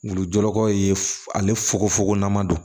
Wulujurakɔw ye ale fuko fogo n'an ma don